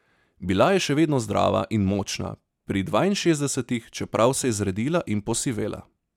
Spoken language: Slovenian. Bila je še vedno zdrava in močna pri dvainšestdesetih, čeprav se je zredila in posivela.